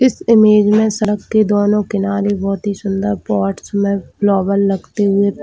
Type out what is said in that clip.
इस इमेज में सरकती दोनों किनारे बहुत ही सुन्दर बॉट्स में ग्लोबल लगते हुए --